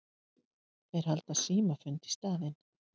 Þeir halda símafund í staðinn.